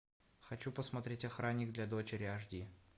хочу посмотреть охранник для дочери аш ди